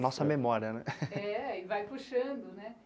Nossa memória, né? é, e vai puxando